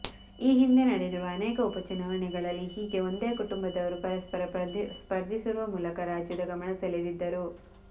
ಈ ಹಿಂದೆ ನಡೆದಿರುವ ಅನೇಕ ಉಪಚುನಾವಣೆಗಳಲ್ಲಿ ಹೀಗೆ ಒಂದೇ ಕುಟುಂಬದವರು ಪರಸ್ಪರ ಸ್ಪರ್ಧಿಸುವ ಮೂಲಕ ರಾಜ್ಯದ ಗಮನ ಸೆಳೆದಿದ್ದರು